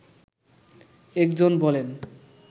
একজন বলেন